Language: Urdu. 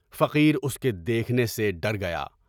فقیر اس کے دیکھنے سے ڈر گیا۔